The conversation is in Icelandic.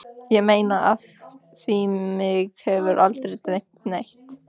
Ég meina af því mig hefur aldrei dreymt neitt.